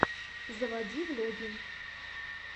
заводи влоги